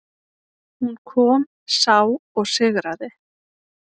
Hún kom, sá og sigraði.